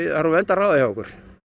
er úr vöndu að ráða hjá okkur